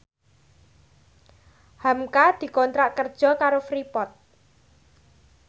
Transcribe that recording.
hamka dikontrak kerja karo Freeport